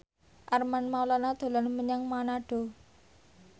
Armand Maulana dolan menyang Manado